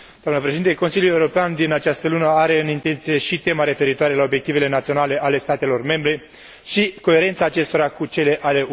Consiliul European din această lună are în intenție și tema referitoare la obiectivele naționale ale statelor membre și coerența acestora cu cele ale UE